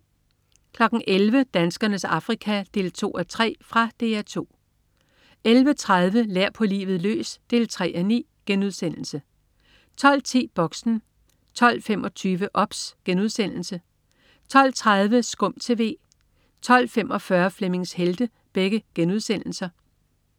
11.00 Danskernes Afrika 2:3. Fra DR 2 11.30 Lær på livet løs 3:9* 12.10 Boxen 12.25 OBS* 12.30 SKUM TV* 12.45 Flemmings Helte*